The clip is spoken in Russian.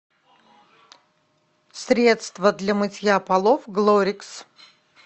средство для мытья полов глорикс